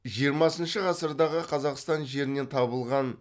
жиырмасыншы ғасырдағы қазақстан жерінен табылған